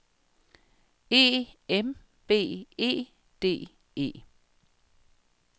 E M B E D E